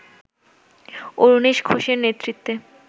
অরুণেশ ঘোষের নেতৃত্বে